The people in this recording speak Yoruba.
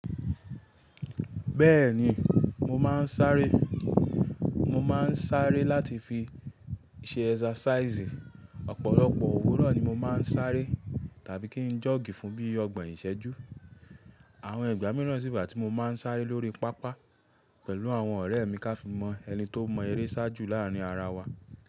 Bẹ́ẹ̀ni mo máa ń sáré. Mo máa ń sáré láti fi ṣe exercise. Ọ̀pọ̀lọpọ̀ òwúrọ̀ ni mo máa ń sáré tàbí kí n jog fún bíi ọgbọ̀n ìṣẹ́jú. Àwọn ìgbà míràn sì wà tí mo máa ń sáré lórí pápá pẹ̀lú àwọn ọ̀rẹ́ mi ká fi mọ ẹni tó mọ eré sáájú láàárin ara wa.